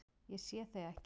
Ég sé þig ekki.